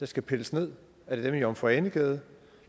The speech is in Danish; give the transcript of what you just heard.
skal pilles ned er det dem i jomfru ane gade